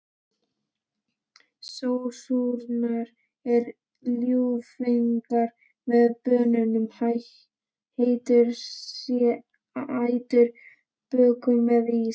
Sósurnar eru ljúffengar með banönum, heitum sætum bökum eða ís.